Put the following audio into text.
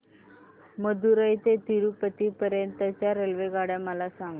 मदुरई ते तिरूपती पर्यंत च्या रेल्वेगाड्या मला सांगा